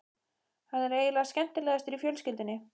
Hann er eiginlega skemmtilegastur í fjölskyldunni.